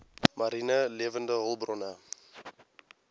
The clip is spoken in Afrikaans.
mariene lewende hulpbronne